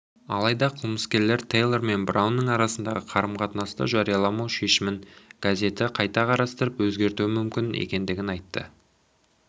алайда қылмыскерлер тэйлор мен браунның арасындағы қарым-қатынасты жарияламау шешімін газеті қайта қарастырып өзгертуі мүмкін екендігін айтты